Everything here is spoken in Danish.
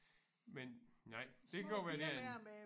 Men nej det kan godt være det er en